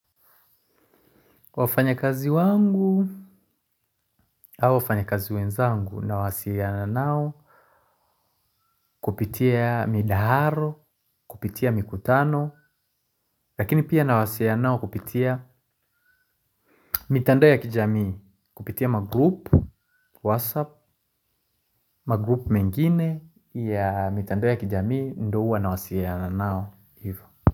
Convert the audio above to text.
Wafanya kazi wangu au wafanyakazi wenzangu nawasiiana nao kupitia midaharo kupitia mikutano lakini pia nawasiiana nao kupitia mitandao ya kijamii kupitia magroup whatsapp magroup mengine ya mitandao ya kijamii ndo uwa nawasiiana nao ivo.